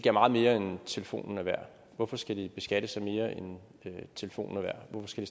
er meget mere end telefonen er værd hvorfor skal de beskattes af mere end telefonen er værd hvorfor skal